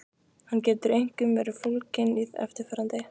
Hann getur einkum verið fólginn í eftirfarandi